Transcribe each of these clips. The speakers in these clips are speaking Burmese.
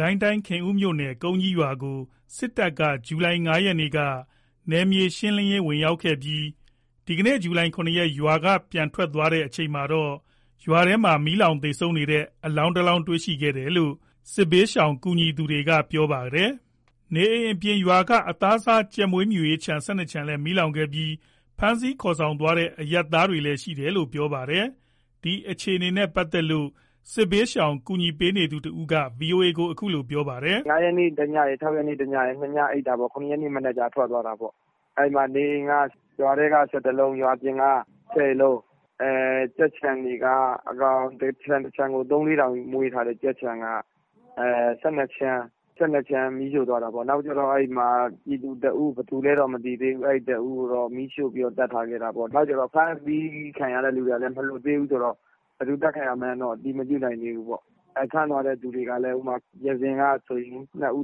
ကိုင်းတိုင်း ခင်ဦးမြို့နယ် ကုန်းကြီးရွာကို စစ်တပ်က ဇူလိုင် ၅ ရက်မှာ နယ်မြေရှင်းလင်းရေး ဝင်ရောက်ခဲ့ပြီး ဒီကနေ့ ဇူလိုင် ၇ ရက်၊ ရွာထဲက ပြန်ထွက်သွားချိန်မှာတော့ ရွာထဲမှာ မီးလောင်သေဆုံးနေတဲ့ အလောင်း တလောင်းကို တွေ့ရှိခဲ့ရတာလို့ စစ်ဘေးရှောင် ကူညီသူတွေက ပြောပါတယ်။ နေအိမ်တွေအပြင် ရွာက အသားစား ကြက်မွေးမြူရေးခြံ ၁၂ ခြံလည်း မီးလောင်ခဲ့ပြီး ဖမ်းဆီးခေါ်ဆောင်သွားတဲ့ အရပ်သားတွေလည်း ရှိတယ်လို့ ပြောပါတယ်။ ဒီအခြေအနေနဲ့ ပတ်သက်လို့ စစ်ဘေးရှောင်ကူညီပေးနေသူတဦးက ဗွီအိုအေကို အခုလို ပြောပြပါတယ်။ “၅ ရက်နေ့ တညရယ်၊ ၆ ရက်နေ့ တညရယ်၊ ၂ ညအိပ်တာပေါ့။ ၇ ရက်နေ့ မနက်မှာ ထွက်သွားတာပေါ့။ အဲ့မှာ နေအိမ်က ရွာထဲက ၁၁ လုံး ရွာပြင်က ၁၀ လုံး ကြက်ခြံတွေက တခြံကို ၃-၄၀၀၀ မွေးထားတဲ့ ကြက်ခြံက ၁၂ ခြံ မီးရှို့သွားတာပေါ့။ နောက်ပြီး ပြည်သူ ၁ ဦး ဘယ်သူလည်းတော့ မသိသေးဘူး မီးရှို့ပြီး သတ်ထားခဲ့တာပေါ့။ နောက်ပြီး ဖမ်းဆီးခံရတဲ့ သူတွေကလည်း မလွှတ်သေးဘူးဆိုတော့ ဘယ်သူ အသတ်ခံရမှန်းတော့ အတည်မပြုနိုင်သေးဘူးပေါ့။ ဖမ်းသွားတဲ့သူတွေကလည်း ရွာဇင်က ၂ ဦး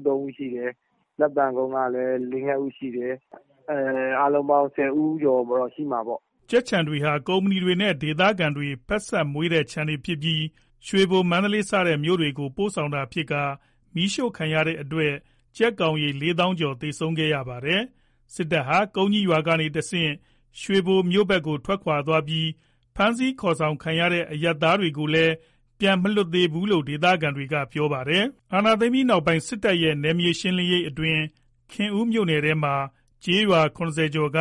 ၃ ဦးရှိတယ်။ လက်ပံကုန်းကဆို ၄ − ၅ ဦးရှိတယ်။ အားလုံးပေါင်း ၁၀ ဦးကျော်တော့ ရှိမှာပေါ့။” ကြက်ခြံတွေဟာ ကုမ္ပဏီတွေနဲ့ ဒေသခံတွေ ဖက်စပ်မွေးတဲ့ ခြံတွေဖြစ်ပြီး ရွှေဘို မန္တလေးစတဲ့ မြို့တွေကို ပို့ဆောင်တာဖြစ်ပြီး မီးရှို့ခံရတဲ့အတွက် ကြက်ကောင်ရေ ၄၀၀၀ ကျော် သေဆုံးခဲ့ရပါတယ်။ စစ်တပ်ဟာ ကုန်းကြီးရွာကနေတဆင့် ရွှေဘိုမြို့ဘက်ကို ထွက်ခွာသွားပြီး ဖမ်းဆီး ခေါ်ဆောင်ခံရတဲ့ အရပ်သားတွေကိုလည်း ပြန်မလွတ်လာသေးဘူးလို့ ဒေသခံတွေက ပြောပါတယ်။ အာဏာသိမ်းပြီးနောက်ပိုင်း စစ်တပ်ရဲ့ နယ်မြေရှင်းလင်းရေးအတွင်း ခင်ဦးမြို့နယ်ထဲမှာ ကျေးရွာ ၇၀ ကျော်က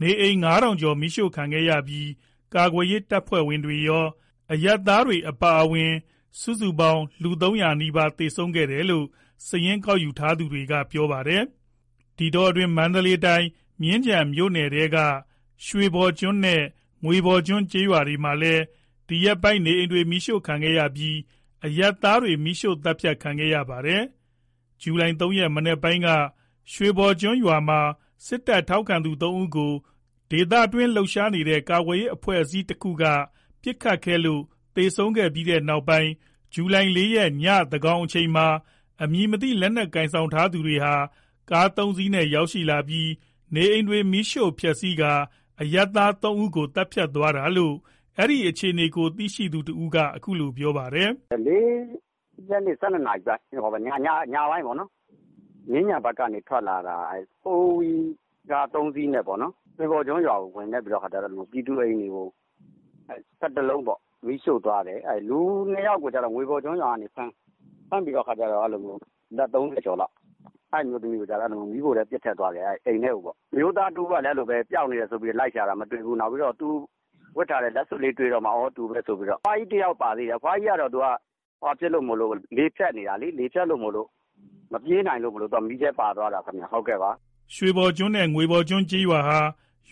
နေအိမ် ၅ ထောင်ကျော် မီးရှို့ခံခဲ့ရပြီး ကာကွယ်ရေး တပ်ဖွဲ့ဝင်တွေရော၊ အရပ်သားတွေပါ အပါအဝင် စုစုပေါင်း လူ ၃၀၀ နီးပါး သေဆုံးခဲ့တယ်လို့ စာရင်း ကောက်ယူထားသူတွေက ပြောပါတယ်။ ဒီအတောအတွင်း မန္တလေးတိုင်း မြင်းခြံမြို့နယ်ထဲက ရွှေပေါ်ကျွန်းနဲ့ ငွေပေါ်ကျွန်းကျေးရွာမှာလည်း ဒီရက်ပိုင်း နေအိမ်တွေ မီးရှို့ခံခဲ့ရပြီး အရပ်သားတွေ မီးရှို့ သတ်ဖြတ်ခံခဲ့ရပါတယ်။ ဇူလိုင် ၃ ရက် မနက်ပိုင်းက ရွှေပေါ်ကျွန်းရွာမှာ စစ်တပ်ထောက်ခံသူ ၃ ဦးကို ဒေသတွင်း လှုပ်ရှားနေတဲ့ ကာကွယ်ရေး အဖွဲ့အစည်း တခုက ပစ်ခတ်ခဲ့လို့ သေဆုံးပြီးနောက်ပိုင်း ဇူလိုင် ၄ ရက် ညသန်းခေါင် အချိန်မှာ အမည်မသိ လက်နက်ကိုင်ဆောင် ထားသူတွေဟာ ကား ၃ စီးနဲ့ ရောက်လာပြီး နေအိမ်တွေ မီးရှို့ဖျက်ဆီးပြီး အရပ်သား ၃ ဦးကို သတ်ဖြတ်သွားတာလို့ အဲဒီအခြေအနေကို သိရှိသူတဦးက အခုလို ပြောပါတယ်။ “၄ ရက်နေ့ ၁၂ နာရီ ညပိုင်းပေါ့နော်။ မြင်းခြံဘက်ကနေ ထွက်လာတာ ဖိုးဝီး ကား ၃ စီးနဲ့ပေါ့နော်။ ရွှေပေါ်ကျွန်းရွာကို ဝင်ခဲ့ပြီး ပြည်သူတွေ အိမ်တွေကို ၁၁ လုံးပေါ့ မီးရှို့သွားတယ်။ လူ ၂ ယောက်ကိုတော့ ငွေပေါ်ကျွန်းရွာကနေ ဖမ်းပြီးတဲ့အခါကျတော့ အသက် ၃၀ ကျော်လောက် အမျိုးသမီးကိုတော့ မီးပုံထဲ ပစ်ထည့်သွားတယ် အိမ်ထဲကိုပေါ့။ အမျိုးသားတဦးကလည်း အဲ့လိုပဲ ပျောက်နေတယ်ဆိုပြီး လိုက်ရှာတာ မတွေ့ဘူး။ နောက်ပြီး သူဝတ်ထားတဲ့ လက်စွပ်လေးတွေ့မှ သူပဲဆိုပြီးတော့ သိတာ။ အဖွားကြီးတယောက်လည်း ပါသေးတယ်။ အဖွားကြီးကတော့ လေဖြတ်နေတာလေ။ လေဖြတ်နေလို့ မပြေးနိုင်လို့ မီးထဲပါသွားတာ။” ရွှေပေါ်ကျွန်းနဲ့ ငွေပေါ်ကျွန်းကျေးရွာဟာ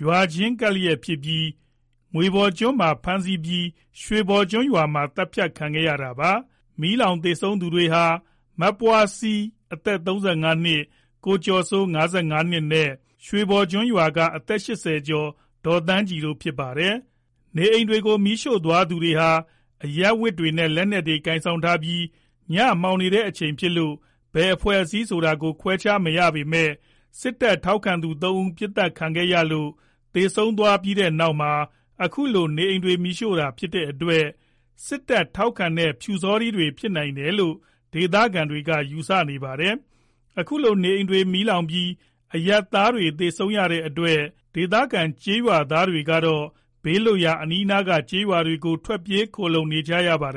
ရွာချင်းကပ်ဖြစ်ပြီး ငွေပေါ်ကျွန်းမှာ ဖမ်းဆီးပြီး ရွှေပေါ်ကျွန်းမှာ သတ်ဖြတ်ခံရတာပါ။ မီးလောင်သေဆုံးသူတွေဟာ မပွားစီ အသက် ၃၅ နှစ်၊ ကိုကျော်စိုး ၅၅ နှစ်နဲ့ ရွှေပေါ်ကျွန်းရွာက အသက် ၈၀ ကျော် ဒေါ်သန်းကြည်တို့ ဖြစ်ပါတယ်။ နေအိမ်တွေကို မီးရှို့သွားသူတွေဟာ အရပ်ဝတ်တွေနဲ့ လက်နက်တွေ ကိုင်ဆောင်ထားပြီး ညမှောင်နေတဲ့အချိန် ဖြစ်လို့ ဘယ်အဖွဲ့အစည်း ဆိုတာကို ခွဲခြားမရပေမဲ့ စစ်တပ်ထောက်ခံသူ ၃ ဦး ပစ်သတ်ခံရလို့ သေဆုံးသွားတဲ့နောက်မှာ အခုလို နေအိမ်တွေ မီးရှို့ခံရတာ ဖြစ်တဲ့အတွက် စစ်တပ်ထောက်ခံတဲ့ ပျူစောထီးတွေ ဖြစ်နိုင်တယ်လို့ ဒေသခံတွေက ယူဆနေကြပါတယ်။ အခုလို နေအိမ်တွေ မီးလောင်ပြီး အရပ်သားတွေ သေဆုံးခဲ့ရတဲ့အတွက် ဒေသခံ ကျေးရွာသားတွေကတော့ ဘေးလွတ်ရာ အနီးနားက ကျေးရွာတွေကို ထွက်ပြေး ခိုလှုံနေကြရပါတယ်